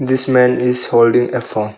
This man is holding a phone.